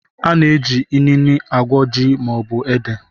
A na-eji inine agwọ ji maọbụ ede